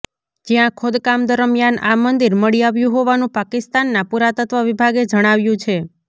જ્યાં ખોદકામ દરમિયાન આ મંદિર મળી આવ્યું હોવાનું પાકિસ્તાનના પુરાતત્વ વિભાગે જણાવ્યું છે